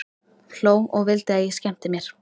Hló og vildi að ég skemmti mér.